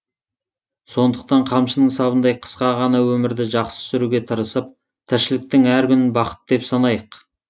сондықтан қамшының сабындай қысқа ғана өмірді жақсы сүруге тырысып тіршіліктің әр күнін бақыт деп санайық